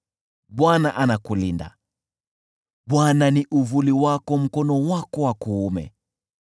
Bwana anakulinda, Bwana ni uvuli wako mkono wako wa kuume,